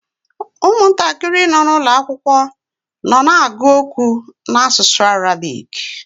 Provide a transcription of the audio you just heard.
Ụmụntakịrị nọ n’ụlọ akwụkwọ nọ na-agụ okwu n’asụsụ Arabik.